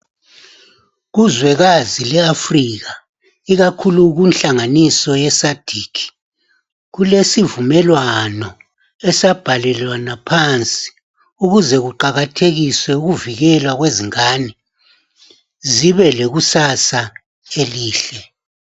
Kuzwekazi le Africa ikakhulu kunhlanganiso ye SADC kulesivumelwano esabhalelwana phansi ukuze kuqakathekiswe ukuvikelwa kwezingane zibe lekusasa elihle .